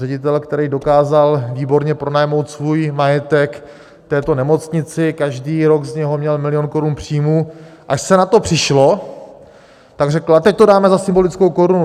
Ředitel, který dokázal výborně pronajmout svůj majetek této nemocnici, každý rok z něho měl milion korun příjmu, až se na to přišlo, pak řekl: a teď to dáme za symbolickou korunu.